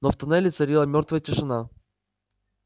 но в тоннеле царила мёртвая тишина